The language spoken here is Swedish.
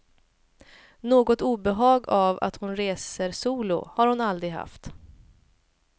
Något obehag av att hon reser solo har hon aldrig haft.